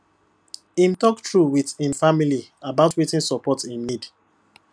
im talk true wit im family about wetin support im need